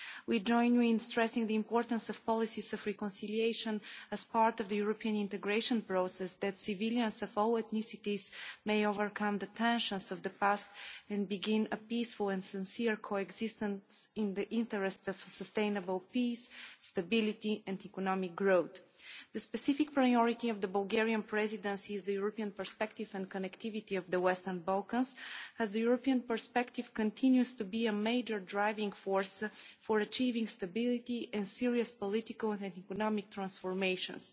We join you in stressing the importance of policies of reconciliation as part of the European integration process so that civilians of all ethnicities may overcome the tensions of the past and begin peaceful and genuine coexistence in the interests of sustainable peace, stability and economic growth. The specific priority of the Bulgarian Presidency is the European perspective and connectivity in the Western Balkans, as the European perspective continues to be a major driving force for achieving stability in serious political and economic transformations.